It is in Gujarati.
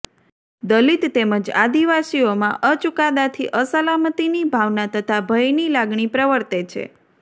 દલિત તેમજ આદિવાસીઓમાં અ ચુકાદાથી અસલામતીની ભાવના તથા ભયની લાગણી પ્રવર્તે છે